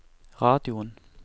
radioen